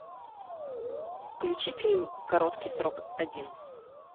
включи фильм короткий срок один